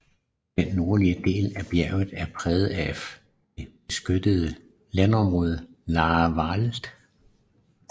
Den nordlige del af bjerget er præget af det beskyttede landområde Laaer Wald